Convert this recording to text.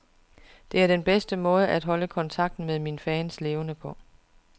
Det er den bedste måde at holde kontakten med mine fans levende på.